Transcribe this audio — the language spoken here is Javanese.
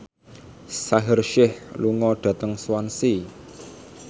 Shaheer Sheikh lunga dhateng Swansea